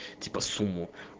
по суму